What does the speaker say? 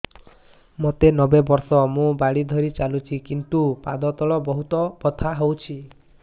ମୋତେ ନବେ ବର୍ଷ ମୁ ବାଡ଼ି ଧରି ଚାଲୁଚି କିନ୍ତୁ ପାଦ ତଳ ବହୁତ ବଥା ହଉଛି